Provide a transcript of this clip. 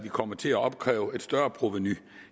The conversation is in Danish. kommer til at opkræve et større provenu